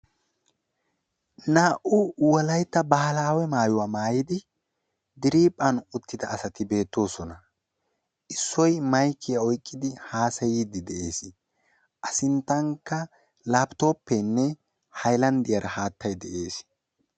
Naa''u woleytta baahilawe maayuwa maayidi diriiphphan uttida asati beettoosona. Issoy maykiya oyqqidi haasayiiddi de'ees.A sinttankka laappitooppeenne haylanddiyara haattay dees.